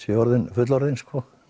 fullorðinn fullorðinn